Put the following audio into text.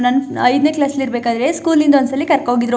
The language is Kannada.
ನನ್ ಐದ್ನೇ ಕ್ಲಾಸ್ ಅಲ್ಲಿ ಇರಬೇಕಾದ್ರೆ ಸ್ಕೂಲ್ ಇಂದ ಒಂದ್ಸಲಿ ಕರ್ಕೊ ಹೋಗಿದ್ರು.